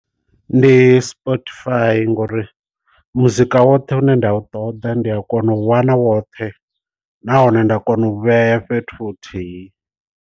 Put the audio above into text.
Ndi Spotify ngori muzika woṱhe une nda u ṱoḓa ndi a kona u wana woṱhe nahone nda kona u vhea fhethu huthihi.